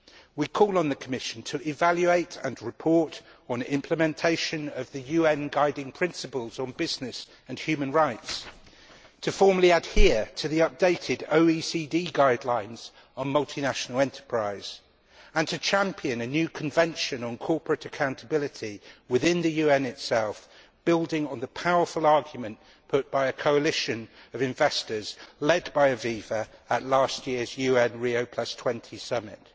We call on the Commission to evaluate and report on implementation of the UN's Guiding Principles on Business and Human Rights, to formally adhere to the updated OECD Guidelines for Multinational Enterprises, and to champion a new convention on corporate accountability within the UN itself, building on the powerful argument put by a coalition of investors led by Aviva at last year's UN Rio20 Summit.